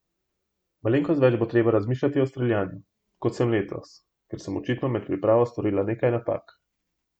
Malenkost več bo treba razmišljati o streljanju, kot sem letos, ker sem očitno med pripravo storila nekaj napak.